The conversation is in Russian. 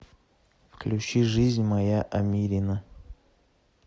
включи жизнь моя амирина